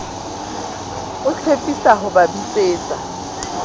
o tshepisa ho ba bitsetsa